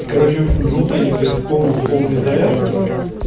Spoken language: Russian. короче в общем живут они блядь в полной в полной изоляции